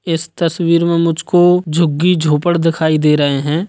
इस तस्वीर में मुझ को झुग्गी-झोपड़ दिखाई दे रहे हैं।